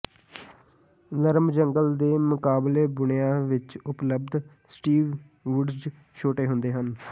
ਨਰਮ ਜੰਗਲ ਦੇ ਮੁਕਾਬਲੇ ਬੁਣਿਆ ਵਿੱਚ ਉਪਲਬਧ ਸਟੀਵ ਵੁੱਡਜ਼ ਛੋਟੇ ਹੁੰਦੇ ਹਨ